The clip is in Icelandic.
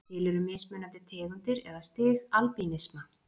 Til eru mismunandi tegundir eða stig albínisma.